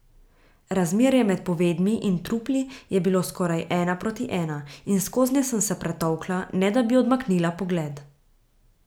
Razmerje med povedmi in trupli je bilo skoraj ena proti ena in skoznje sem se pretolkla, ne da bi odmaknila pogled.